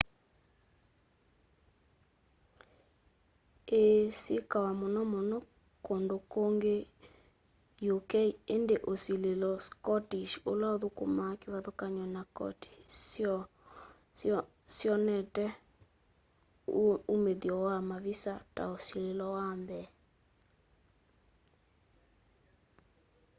ĩĩ syĩkawa mũnomũno kũndũ kũngĩ ũk ĩndĩ tĩ ũsĩlĩlo scottish ũla ũthũkũma kĩvathũkanyo na kotĩ syo syonete ũmĩthyo wa mavisa ta ũsĩlĩlo wa mbee